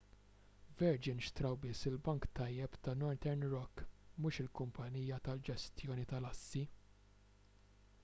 virgin xtraw biss il-'bank tajjeb' ta' northern rock mhux il-kumpanija tal-ġestjoni tal-assi